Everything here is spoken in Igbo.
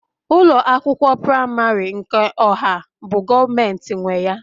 ụlọ akwụkwọ praịmarị nke ọha bụ Gọọmentị nwe ya